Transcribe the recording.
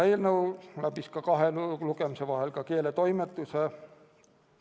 Eelnõu läbis kahe lugemise vahel keeletoimetamise.